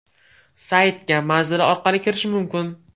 Saytga manzili orqali kirish mumkin.